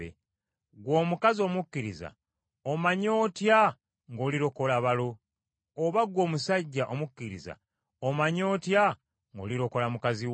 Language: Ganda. Ggwe omukazi omukkiriza omanyi otya ng’olirokola balo? Oba ggwe omusajja omukkiriza omanyi otya ng’olirokola mukazi wo?